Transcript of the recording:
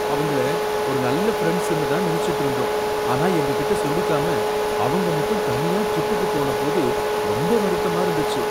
அவங்கள ஒரு நல்ல ஃபிரெண்ட்ஸ்னு தான் நினைச்சுட்டு இருந்தோம் ஆனா எங்க கிட்ட சொல்லிக்காம அவங்க மட்டும் தனியா ட்ரிப்யுக்கு போன போது ரொம்ப வருத்தமா இருந்துச்சு.